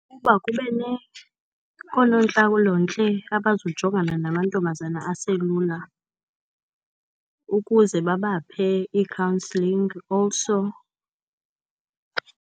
Ukuba oonontlalontle abazojongana namantombazana aselula, ukuze babaphe i-counselling also.